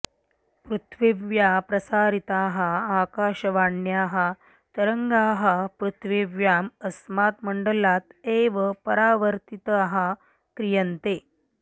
पृथिव्याः प्रसारिताः आकाशवाण्याः तरङ्गाः पृथिव्याम् अस्मात् मण्डलात् एव परावर्तिताः क्रियन्ते